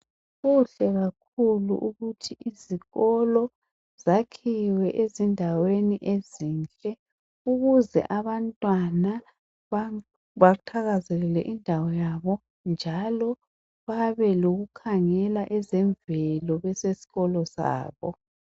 Kuhle kakhulu ukuthi izikolo zakhiwe ezindaweni ezinhle ukuze abantwana bathakazelele indawo yabo njalo babe lokukhangela ezemvelo besesikolo sabo.